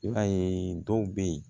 I b'a ye dɔw bɛ ye